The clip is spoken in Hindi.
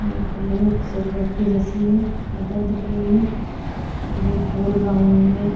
मू खोले हुए सलबटटी जैसी बादल दिख रही हैं और एक गोल राउन्ड मे--